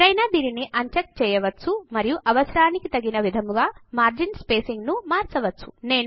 ఎవరైనా దీనిని అన్చెక్ చేయవచ్చు మరియు అవసరానికి తగిన విధముగా మార్జిన్ స్పేసింగ్ ను మార్చవచ్చు